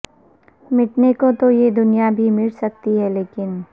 مٹنے کو تو یہ دنیا بھی مٹ سکتی ہے لیکن